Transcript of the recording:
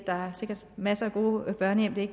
der er sikkert masser af gode børnehjem det er